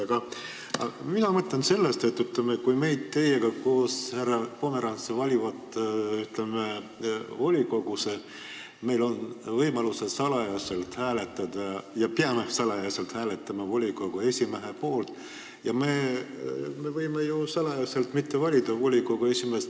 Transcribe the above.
Aga mina mõtlen sellest, et kui mind ja teid, härra Pomerants, valitakse volikogusse, meil on võimalus salaja hääletada ja me peamegi salaja hääletama volikogu esimehe poolt, siis me võime ju salaja mitte valida volikogu esimeest.